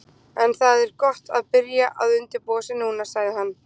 En það er gott að byrja að undirbúa sig núna, sagði hann.